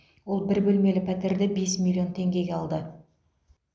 ол бір бөлмелі пәтерді бес миллион теңгеге алды